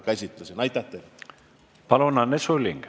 Palun, Anne Sulling!